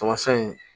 Tamasɛn in